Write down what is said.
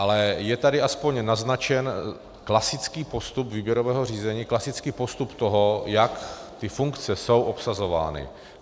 Ale je tady aspoň naznačen klasický postup výběrového řízení, klasický postup toho, jak ty funkce jsou obsazovány.